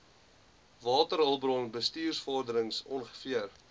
waterhulpbron bestuursvorderings ongeveer